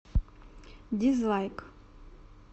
дизлайк